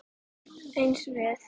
Eins við